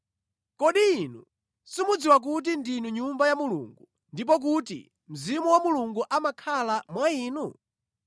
Kodi inu simukudziwa kuti ndinu Nyumba ya Mulungu ndipo kuti Mzimu wa Mulungu amakhala mwa inu?